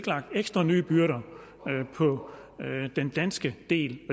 lagt ekstra nye byrder på den danske del det